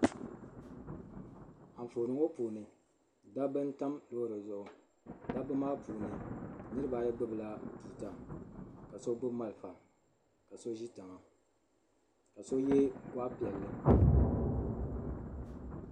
Anfooni ŋɔ puuni dabba n tam loori zuɣu dabba maa puuni niriba ayi gbubi la tuuta ka so gbubi malfa ka so ʒi tiŋa ka so yɛ gɔɣu piɛlli.